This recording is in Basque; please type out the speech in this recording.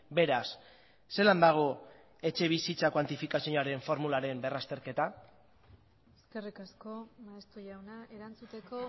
beraz zelan dago etxebizitza kuantifikazioaren formularen berrazterketa eskerrik asko maeztu jauna erantzuteko